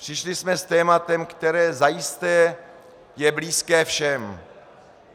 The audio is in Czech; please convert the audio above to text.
Přišli jsme s tématem, které zajisté je blízké všem.